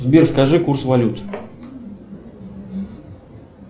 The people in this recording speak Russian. сбер скажи курс валют